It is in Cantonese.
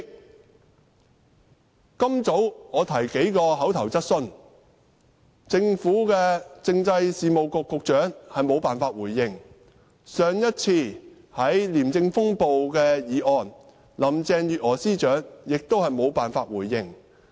我今早提出口頭質詢，政制及內地事務局局長無法回應，上一次在廉政風暴的議案，林鄭月娥司長同樣無法回應。